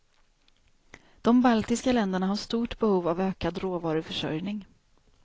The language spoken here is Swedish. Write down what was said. De baltiska länderna har stort behov av ökad råvaruförsörjning.